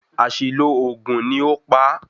Àṣìlo oògùn ni ó pa á